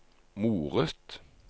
moret